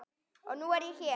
Og nú er ég hér!